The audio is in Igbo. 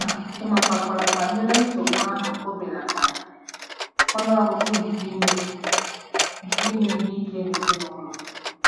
Ma ịmatakwu banyere nsogbu ahụ ò belatara ọnụ ọgụgụ nke ime nke ime ihe ike n'ezinụlọ?